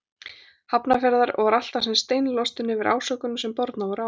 Hafnarfjarðar og var alltaf sem steinilostinn yfir ásökununum sem bornar voru á hann.